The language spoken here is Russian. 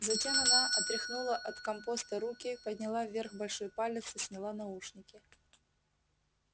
затем она отряхнула от компоста руки подняла вверх большой палец и сняла наушники